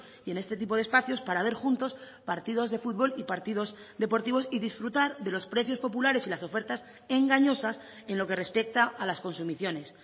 y en este tipo de espacios para ver juntos partidos de fútbol y partidos deportivos y disfrutar de los precios populares y las ofertas engañosas en lo que respecta a las consumiciones